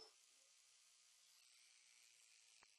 e tí wọn sì ń lé e lọ